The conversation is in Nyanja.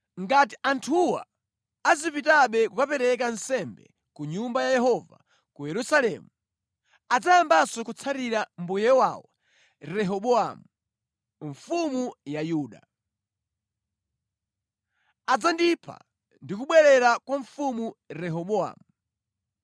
Ngati anthuwa azipitabe kukapereka nsembe ku Nyumba ya Yehova ku Yerusalemu, adzayambanso kutsatira mbuye wawo Rehobowamu, mfumu ya Yuda. Adzandipha ndi kubwerera kwa Mfumu Rehobowamu.”